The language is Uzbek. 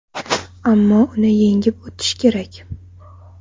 Ammo uni yengib o‘tish kerak.